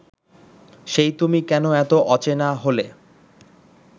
সেই তুমি কেন এত অচেনা হলে